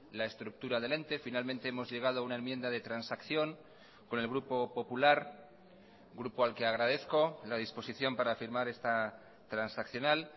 la estructura del ente finalmente hemos llegado a una enmienda de transacción con el grupo popular grupo al que agradezco la disposición para afirmar esta transaccional